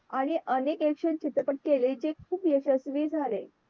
आणि अनेक Action चित्रपट केले जे खूप यशस्वी झाले.